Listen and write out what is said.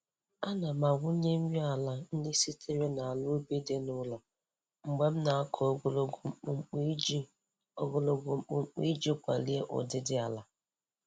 Ana m awụnye nri ala ndị sitere n'ala ubi dị n'ụlọ mgbe m na-akọ ogologo mkpumkpu iji ogologo mkpumkpu iji kwalie ụdịdị ala.